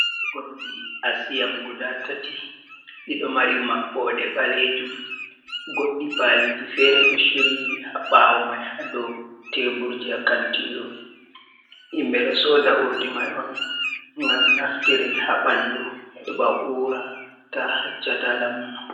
Urdi asiam guda tati ɗiɗo mari maɓɓode ɓalejum goɗɗi paliji fere do shiryi ha ɓawo mai, ha dou teburji ha kantiru, himɓɓe ɗo soda urdi mai on ngam naftire ha ɓanɗu heba ura ta haccata, ta amma.